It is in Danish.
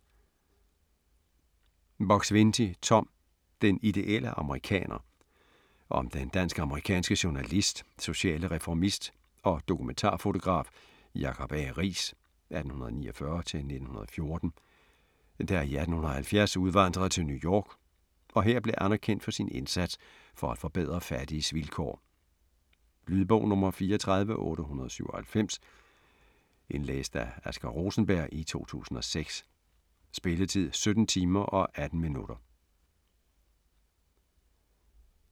Buk-Swienty, Tom: Den ideelle amerikaner Om den dansk-amerikanske journalist, sociale reformist og dokumentarfotograf Jacob A. Riis (1849-1914), der i 1870 udvandrede til New York, og her blev anerkendt for sin indsats for at forbedre fattiges vilkår. Lydbog 34897 Indlæst af Asger Rosenberg, 2006. Spilletid: 17 timer, 18 minutter.